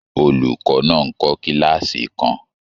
Olùkọ́ náà ń kọ́ kílààsì kan.